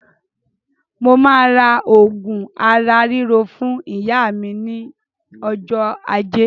Mo ma rà òògùn ara ríro fún ìyá ní ọjọ́ ajé